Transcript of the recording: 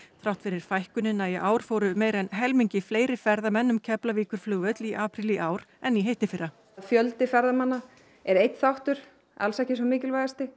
þrátt fyrir fækkunina í ár fóru meira en helmingi fleiri ferðamenn um Keflavíkurflugvöll í apríl í ár en í hittifyrra fjöldi ferðamanna er einn þáttur alls ekki sá mikilvægasti